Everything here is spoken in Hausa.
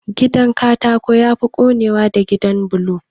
Gidan Katako yafi konewa da gidan bulo